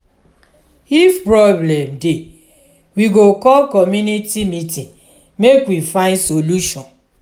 if problem dey we go call community meeting make we find solution.